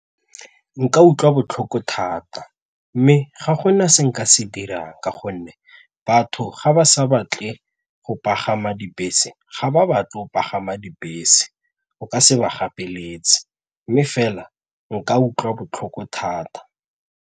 Nka utlwa botlhoko thata mme ga gona se nka se dirang ka gonne batho ga ba sa batle go pagama dibese ga ba batle go pagama dibese, o ka se ba gapeletsege mme fela nka utlwa botlhoko thata.